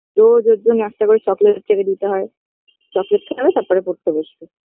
রোজ ওর জন্য একটা করে চকলেট এনে দিতে হয় চকলেট খাবে তারপরে পড়তে বসবে